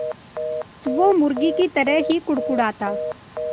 वो मुर्गी की तरह ही कुड़कुड़ाता